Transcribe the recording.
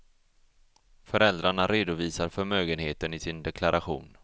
Föräldrarna redovisar förmögenheten i sin deklaration.